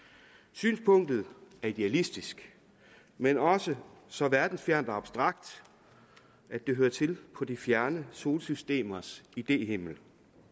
synspunktet er idealistisk men også så verdensfjernt og abstrakt at det hører til på de fjerne solsystemers idéhimmel